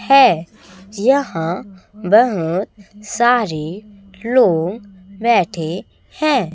है यहां बहोत सारे लोग बैठे हैं।